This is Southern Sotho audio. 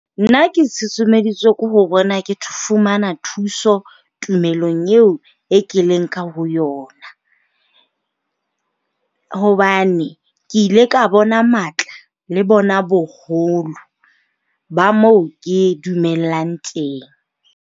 Nna ke susumeditswe ke ho bona ke fumana thuso tumelong eo e ke leng ka ho yona, hobane ke ile ka bona matla le bona boholo ba mo ke dumellang teng.